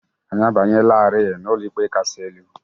Anyị abanyelarị n'Ụlọikpe Kasị Elu